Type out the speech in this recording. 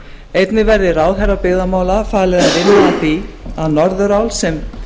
einnig verði ráðherra byggðamála falið að vinna að því að norðurál sem